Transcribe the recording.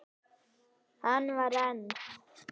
Hann var einn.